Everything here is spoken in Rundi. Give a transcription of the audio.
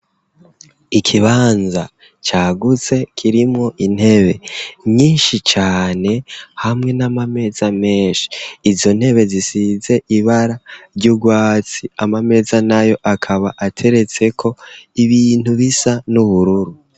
Ikibanza cagutse kirimwo intebe nyinshi cane, hamwe na ma meza menshi, izo ntebe zisize ibara ry'urwatsi, ama meza nayo akaba ateretseko ibintu bisa n'ubururu.